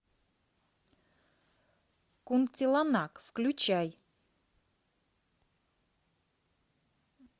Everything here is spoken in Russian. кунтиланак включай